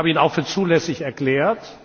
Ich habe ihn auch für zulässig erklärt.